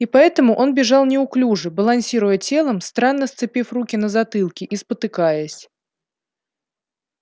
и поэтому он бежал неуклюже балансируя телом странно сцепив руки на затылке и спотыкаясь